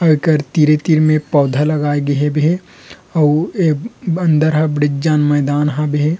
एकर तीरे-तीर में पौधा लगाए गए हबे अउ ए अन्दर ह बड़ेक जन मैदान हाबे हे।